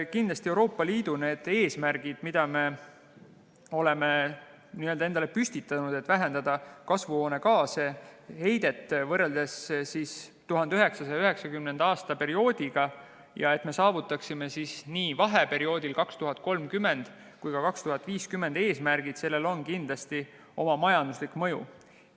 Kindlasti on Euroopa Liidu eesmärkidel, mida me oleme endale püstitanud – vähendada kasvuhoonegaase ja heidet võrreldes 1990. aastate perioodiga ja et me saavutaksime vahe-eesmärgid nii 2030. kui ka 2050. aastaks –, oma majanduslik mõju.